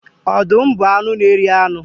Ọdụm bụ anụ n'eri anu.